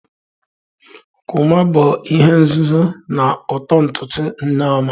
Okwuma bụ ihe nzuzo na uto ntutu Nneoma